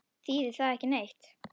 Þýðir það ekki neitt?